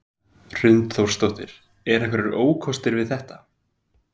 Hrund Þórsdóttir: Eru einhverjir ókostir við þetta?